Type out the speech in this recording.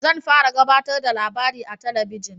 Zan fara gabatarda da labari a talabijin